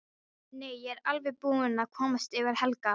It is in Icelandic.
Nei, ég er alveg búin að komast yfir Helga.